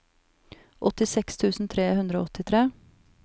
åttiseks tusen tre hundre og åttitre